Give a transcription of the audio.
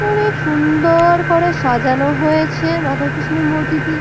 খুবই সুন্দর করে সাজানো হয়েছে রাধাকৃষ্ণর মূর্তিটি।